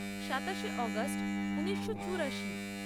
সাতাশে অগাস্ট ঊনিশো চুরাশি